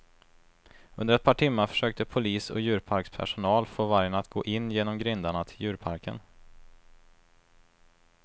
Under ett par timmar försökte polis och djurparkspersonal få vargen att gå in genom grindarna till djurparken.